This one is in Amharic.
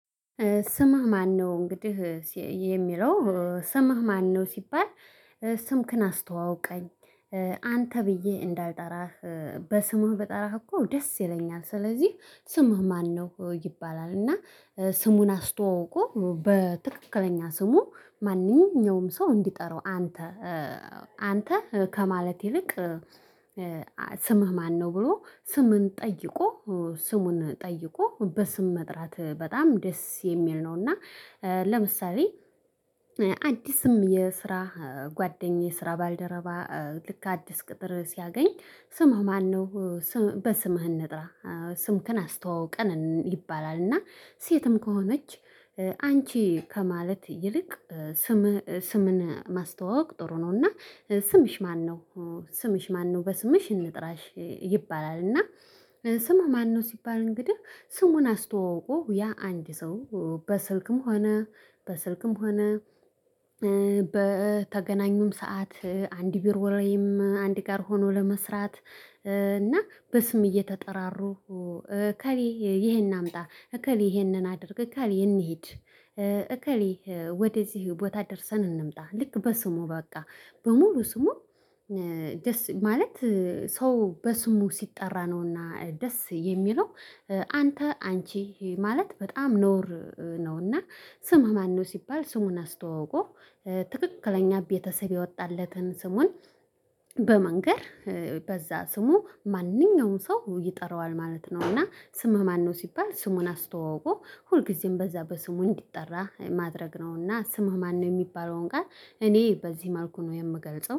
ስምህ ማነው? እንግዲህ የሚለው ስምህ ማነው ሲባል ስምክን አስተዋውቀኝ አንተ ብዬ እንዳልጠራህ በስምህ በጠራህ እኮ ደስ ይለኛል፤ ስለዚህ ስምህ ማነው? ይባላል። እና ስሙን አስተዋውቆ በትክክለኛ ስሙ ማንኛውም ሰው እንዲጠራው አንተ አንተ ከማለት ይልቅ ስምህ ማነው ብሎ ስምን ጠይቆ ስሙን ጠይቆ በስም መጥራት በጣም ደስ የሚል ነው። እና ለምሳሌ አዲስም የስራ ጓደኛዬ ስራ ባልደረባ ልክ አዲስ ቅጥር ሲያገኝ ስምህ ማነው? በስምህ እንጥራህ ስምክን አስተዋውቀን ይባላል። እና ሴትም ከሆነች አንቺ ከማለት ይልቅ ስም ስምን ማስተዋወቅ ጥሩ ነው። እና ስምሽ ማነው ስምሽ ማነው በስምሽ እንጥራሽ ይባላል። እና ስምህ ማነው? ሲባል እንግዲህ ስሙን አስተዋውቆ ያ አንድ ሰው በስልክም ሆነ በስልክም ሆነ በተገናኙም ሰዓት አንድ ቢሮ ላይም አንድ ጋር ሆኖ ለመስራት እና በስም እየተጠራሩ ከሌ ይሄን አምጣ እከሌ ይሄንን አድርግ እከሌ እንሂድ እከሌ ወደዚህ ቦታ ደርሰን እንምጣ። ልክ በስሙ በቃ በሙሉ ስሙ ጀስት ማለት ሰው በስሙ ሲጠራ ነውና ደስ የሚለው። አንተ አንቺ ማለት በጣም ነውር ነው። እና ስምህ ማነው ሲባል ስሙን አስተዋውቆ ትክክለኛ ቤተሰብ የወጣለትን ስሙን በመንገር በዛ ስሙ ማንኛውንም ሰው ይጠራዋል ማለት ነው። እና ስምህ ማነው ሲባል ስሙን አስተዋውቆ ሁልጊዜም በዛ በስሙ እንዲጠራ ማድረግ ነው። እና ስምህ ማነው የሚባለውን ጋር እኔ በዚህ ማርኩ ነው የምገልጸው።